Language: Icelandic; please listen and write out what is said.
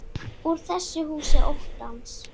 Úr þessu húsi óttans.